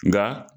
Nka